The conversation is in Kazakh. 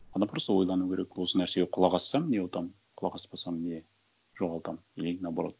адам просто ойлану керек осы нәрсеге құлақ ассам не ұтамын құлақ аспасам не жоғалтамын или наоборот